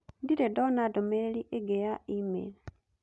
ndirĩ ndona ndũmĩrĩri ĩngĩ ya e-mail